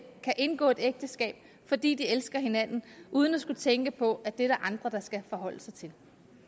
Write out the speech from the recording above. indgå et ægteskab fordi de elsker hinanden uden at skulle tænke på at det er der andre der skal forholde sig til